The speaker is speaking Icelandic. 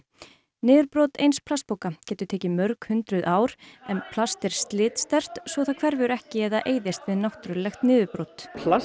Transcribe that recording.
niðurbrot eins plastpoka getur tekið mörg hundruð ár en plast er slitsterkt svo það hverfur ekki eða eyðist við náttúrulegt niðurbrot plast